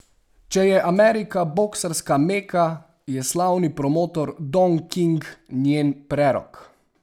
Če je Amerika boksarska meka, je slavni promotor Don King njen prerok.